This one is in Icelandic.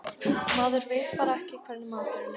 Maður veit bara ekki hvernig maturinn er.